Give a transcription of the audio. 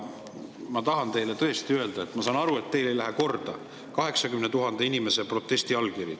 Ma tahan teile tõesti öelda, et ma saan aru, et teile ei lähe korda 80 000 inimese allkirjaga protestikiri.